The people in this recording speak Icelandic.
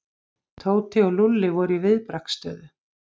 Tóti og Lúlli voru í viðbragðsstöðu.